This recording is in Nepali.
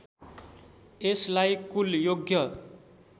यसलाई कुल योग्य